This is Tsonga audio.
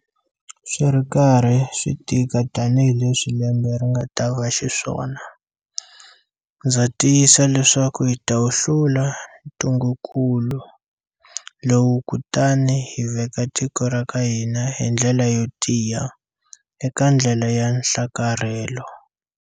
Swi ri karhi swi tika tanihi leswi lembe ri nga ta va xiswona, ndza tiyisa leswaku hi ta wu hlula ntungukulu lowu kutani hi veka tiko ra ka hina hi ndlela yo tiya eka ndlela ya nhlakarhelo.